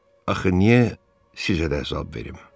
Axı niyə sizə də əzab verim?